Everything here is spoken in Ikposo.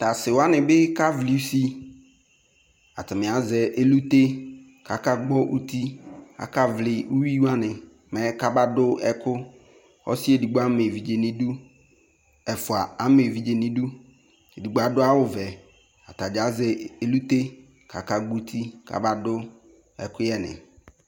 Ta se wane ne ka vli usiAtame azɛ elute kaka gbɔ uti kaka vli uwi wane mɛ kaba do ɛku Ɔse edigbo ama evidze neduƐfua ama evidze neduEdigno ado awuvɛAta dza azɛ elute kaka gɓɔ uti kaba do ɛkuyɛ ne